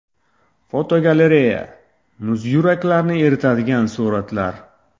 Fotogalereya: Muz yuraklarni eritadigan suratlar.